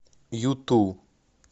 юту